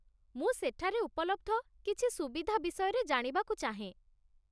ମୁଁ ସେଠାରେ ଉପଲବ୍ଧ କିଛି ସୁବିଧା ବିଷୟରେ ଜାଣିବାକୁ ଚାହେଁ।